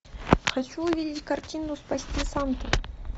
хочу увидеть картину спасти санту